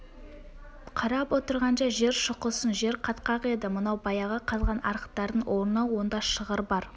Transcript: қарап отырғанша жер шұқысын жер қатқақ еді мынау баяғы қазған арықтардың орны онда шығыр бар